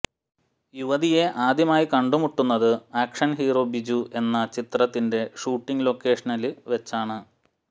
യുവതിയെ ആദ്യമായി കണ്ടുമുട്ടുന്നത് ആക്ഷന് ഹീറോ ബിജു എന്ന ചിത്രത്തിന്റെ ഷൂട്ടിംഗ് ലൊക്കേഷനില് വെച്ചാണ്